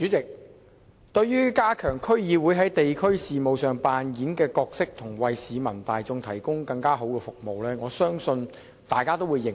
代理主席，對於加強區議會在地區事務上擔當的角色及為市民提供更好的服務，我相信大家都會認同。